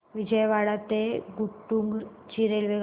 विजयवाडा ते गुंटूर ची रेल्वेगाडी